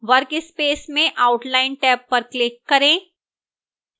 workspace में outline tab पर click करें